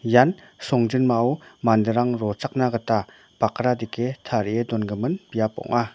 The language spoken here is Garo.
ian songjinmao manderang rochakna gita bakra dike tarie dongimin biap ong·a.